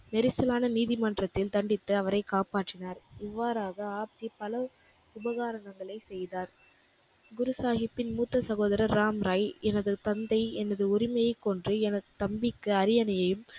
நெரிசலான நீதிமன்றத்தில் தண்டித்த அவரைக் காப்பாற்றினார். இவ்வாறாக ஆப்ஜி பல உபகாரணங்களை செய்தார். குரு சாகிப்பின் மூத்த சகோதரர் ராம்ராய் எனது தந்தை எனது உரிமையைக் கொன்று எனது தம்பிக்கு அரியணையையும்